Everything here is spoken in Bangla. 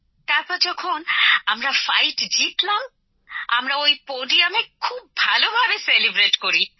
তারপর যখন আমরা জিতলাম আমরা ওই পোডিয়ামে খুব ভালো ভাবে উদযাপন করি